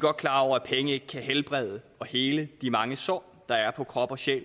godt klar over at penge ikke kan helbrede og hele de mange sår der er på krop og sjæl